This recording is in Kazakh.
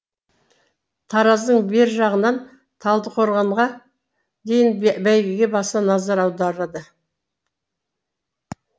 тараздың бер жағынан талдықорғанға дейін бәйгеге баса назар аударады